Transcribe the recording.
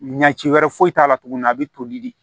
Ɲɛci wɛrɛ foyi t'a la tuguni a bɛ toli de